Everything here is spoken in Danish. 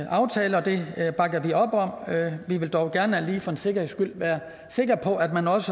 aftale og det bakker vi op om vi vil dog gerne lige for en sikkerheds skyld være sikker på at man også